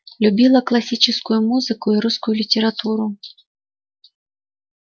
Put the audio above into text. любила классическую музыку и русскую литературу